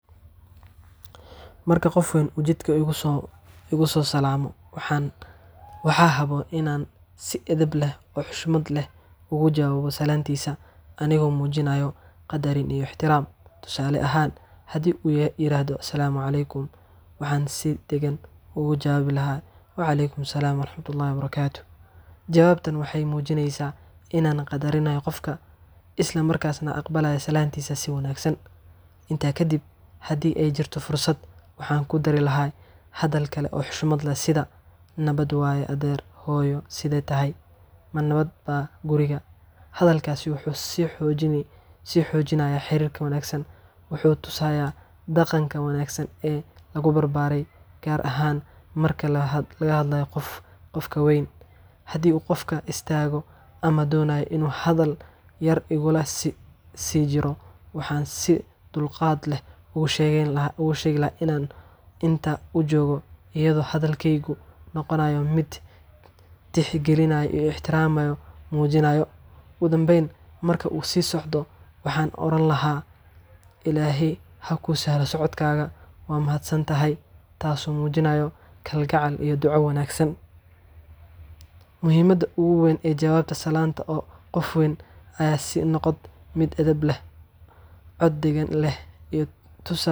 Marka qof weyn ujeedka ugu soo kugu salaamo waxaan waxaa habo inaan si edeb leh oo xushmad leh uga jawaabo salaantiisa anigoo muujinaya qadarin iyo ixtiraam tusaale ahaan haddii yiraahdo asalaamu caleykum waxaan si degan ugu jawaabi lahaa wacalaykum assalaam waraxmatullaahi wabarakaatu jawaabtan waxay muujineysaa inaan qadarinaya qofka isla markas neh aqbalaya Salaantiisa si wanaagsan intaa kadib haddii ay jirto fursad waxaan ku dari lahaa hadal kale oo xushmad leh sida nabad waaye adeer hooyo siday tahay ma nabad baa guriga hadalkaas wuxuu sii xoojinayaa sii xoojinaya xiriirka wanaagsan wuxuu tusayaa dhaqanka wanaagsan ee lagu barbaaray gaar ahaan marka la hadlayo qof qofka weyn haddii uu qofku istaago ama doonayo inuu hadal yar igu la sijiro waxan Si dulqaad leh uu sheegay in uu sheegayaa inaan inta uu joogo iyadoo hadalkeygu noqonayo miid tixgelinayo ixtiraamayo muujinayo ugu dambayn marka uu sii socdo waxaan oran lahaa Ilaahay ha kuu sahlo socodkaaga waa mahadsan tahay taas oo muujinayo kalgacal iyo duco wanaagsan Muhiimadda ugu weyn ee jawaabta salaanta oo qof weyn aya sinoqd mid edeb leh qof weyn eh.